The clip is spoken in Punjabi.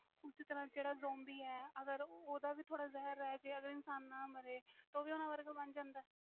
ਓਸੇ ਤਰਾਂ zombi ਵ ਅਗਰ ਓਹਦਾ ਵੀ ਜਹਿਰ ਥੋੜ੍ਹਾ ਰਹਿ ਜਾਵੇ ਇਨਸਾਨ ਨਾ ਮਾਰੇ ਉਹ ਵੀ ਓਹਨਾ ਵਾਂਗ ਬਣ ਜਾਂਦਾ